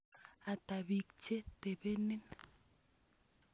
Ata piik che topenin?